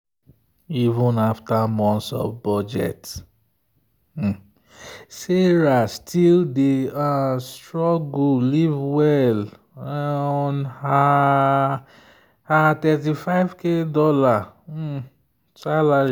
even after months of budget sarah still dey um struggle live well on her her $35k um salary.